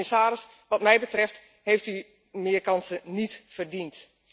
Commissaris, wat mij betreft heeft u meer kansen niet verdiend.